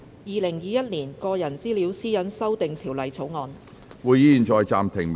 《2021年個人資料條例草案》。